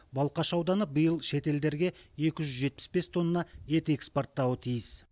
балқаш ауданы биыл шетелдерге екі жүз жетпіс бес тонна ет экспорттауы тиіс